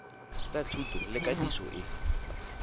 tsa thuto le katiso e